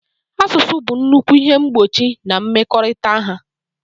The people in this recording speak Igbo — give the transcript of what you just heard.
Asụsụ bụ nnukwu ihe mgbochi na mmekọrịta ha.